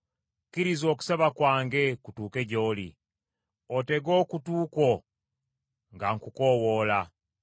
Kkiriza okusaba kwange kutuuke gy’oli; otege okutu kwo nga nkukoowoola.